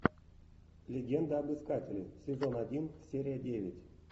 легенда об искателе сезон один серия девять